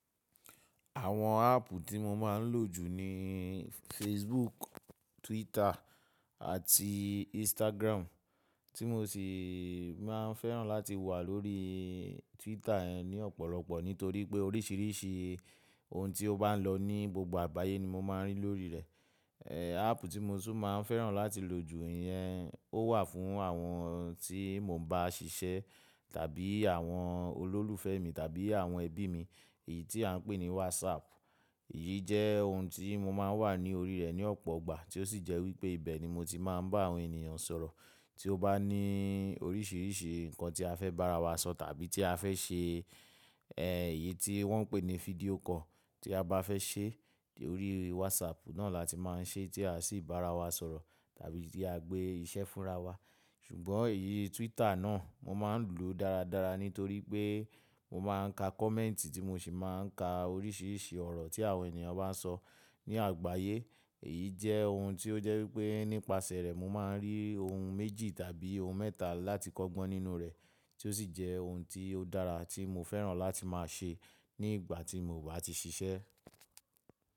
Àwọn áàpù tí mo máa ń lò jù ni Facebook, Twitter àti Instagram. Tí mo sì máa ń fẹ́ràn láti wà lórí Twitter ní ọ̀pọ̀lọpọ̀ nítorí pé oríṣiríṣi ohun tí ó bá ń lọ ní gbogbo àgbáyé ni mo máa ń rí lórí rẹ̀. Eeh, áàpù tí mo tún máa ń fẹ́ràn láti lò jù ìyẹn ó wà fún àwọn tí mo bá ń ṣiṣẹ́ tàbí àwọn olólùfẹ́ mi tàbí àwọn ẹbí mi, èyí tí a ń pè ní WhatsApp. Èyí jẹ́ ohun tí mo máa ń wà ní orí rẹ̀ ní ọ̀pọ̀ ìgbà tí ó sì jẹ́ wípé ibẹ̀ ni mo ti máa ń bá àwọn ènìyàn sọ̀rọ̀. Tí ó bá ní oríṣiríṣi nǹkan tí a fẹ́ bá ara wa sọ tàbí tí a fẹ́ ṣe, eeh, èyí tí wọ́n ń pè ní fídíò call tí a bá fẹ́ ṣe, lórí WhatsApp náà la ti máa ń ṣe tí a sì bá ara wa sọ̀rọ̀ tàbí tí a gbé iṣẹ́ fúnra wa. Ṣùgbọ́n èyí Twitter náà mo máa ń lò dáradára nítorí pé mo máa ń ka kọ̀mẹ́ǹtì tí mo sì máa ń ka oríṣiríṣi ọ̀rọ̀ tí àwọn ènìyàn bá ń sọ ní àgbáyé. Èyí jẹ́ ohun tí ó jẹ́ wípé nípasẹ̀ rẹ̀ mo máa ń rí ohun méjì tàbí ohun mẹ́ta láti kọ́gbọ́n nínú rẹ̀ tí ó sì jẹ́ ohun tí ó dára tí mo fẹ́ràn láti máa ṣe ní ìgbà tí mo ò bá ti ṣiṣẹ́.